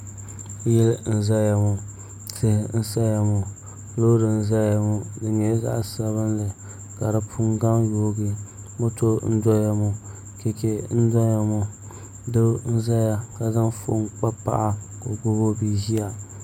Yili n ʒɛya maa tihi n saya maa loori n ʒɛya ŋo di nyɛla zaɣ sabinli ka di puni gaŋ yoogi moto n doya ŋo chɛchɛ n doya ŋo doo n ʒɛya ka zaŋ foon kpa paɣa ka gbubi o bia ʒiya